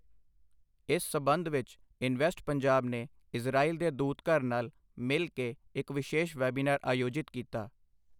ਇਸ ਸੰਬੰਧ ਵਿੱਚ ਇਨਵੈਸਟ ਪੰਜਾਬ ਨੇ ਇਜਰਾਇਲ ਦੇ ਦੂਤਘਰ ਨਾਲ ਮਿਲ ਕੇ ਇੱਕ ਵਿਸ਼ੇਸ਼ ਵੈਬੀਨਾਰ ਆਯੋਜਿਤ ਕੀਤਾ।